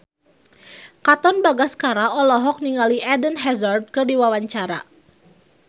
Katon Bagaskara olohok ningali Eden Hazard keur diwawancara